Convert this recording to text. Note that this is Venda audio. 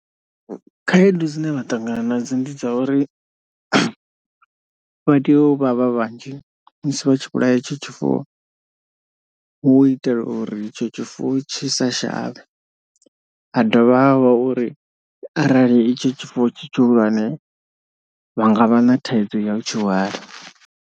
Khaedu dzine vha ṱangana nadzo ndi dza uri vha tea u vha vha vhanzhi musi vha tshi vhulaya itsho tshifuwo. Hu u itela uri itsho tshifuwo tshi sa shavhe ha dovha ha vha uri arali itsho tshifuwo tshi tshihulwane vha nga vha na thaidzo ya u tshihwala.